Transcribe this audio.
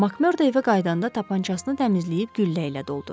Makmerdo evə qayıdanda tapançasını təmizləyib güllə ilə doldurdu.